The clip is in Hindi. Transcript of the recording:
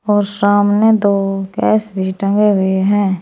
और सामने दो गैस भी टंगे हुए हैं।